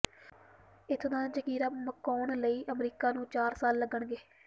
ਇੱਥੋਂ ਦਾ ਜ਼ਖੀਰਾ ਮੁਕਾਉਣ ਲਈ ਅਮਰੀਕਾ ਨੂੰ ਚਾਰ ਸਾਲ ਲੱਗਣਗੇ